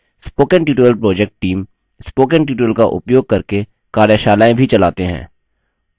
spoken tutorial project teamspoken tutorial का उपयोग करके कार्यशालाएँ भी चलाते हैं